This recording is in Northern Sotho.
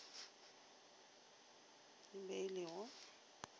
e be e le go